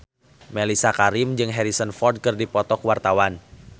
Mellisa Karim jeung Harrison Ford keur dipoto ku wartawan